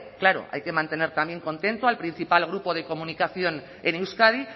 claro hay que mantener también contento al principal grupo de comunicación en euskadi